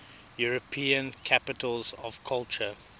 european capitals of culture